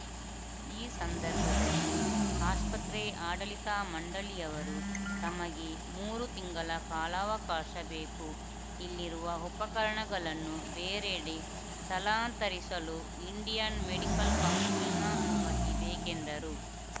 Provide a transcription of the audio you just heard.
ಈ ಸಂದರ್ಭದಲ್ಲಿ ಆಸ್ಪತ್ರೆ ಆಡಳಿತ ಮಂಡಳಿಯವರು ತಮಗೆ ಮೂರು ತಿಂಗಳ ಕಾಲಾವಕಾಶ ಬೇಕು ಇಲ್ಲಿರುವ ಉಪಕರಣಗಳನ್ನು ಬೇರೆಡೆ ಸ್ಥಳಾಂತರಿಸಲು ಇಂಡಿಯನ್‌ ಮೆಡಿಕಲ್‌ ಕೌನ್ಸಿಲ್‌ನ ಅನುಮತಿ ಬೇಕೆಂದರು